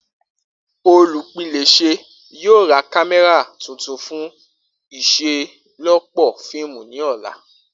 Olupilẹṣẹ yoo ra kamẹra tuntun fun iṣelọpọ fiimu ni ọla.